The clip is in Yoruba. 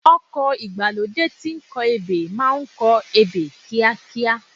Ọkọ̀ ìgbàlódé tí ń kọ ebè máa kọ ebè kíákíá.